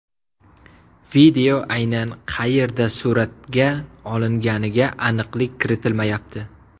Video aynan qayerda suratga olinganiga aniqlik kiritilmayapti.